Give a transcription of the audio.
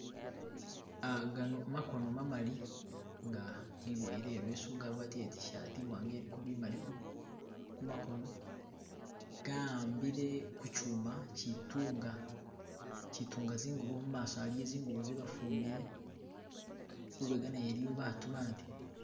Gano makono mamali nga giboyele ileesu ga gwatile itishaati imwanga iliko bumali kumakono nga gahambile ku chuma chitunga chitunga zingubo mumaso aliyo zingubo zebafumbile lubega nayo iliyo baatu abandi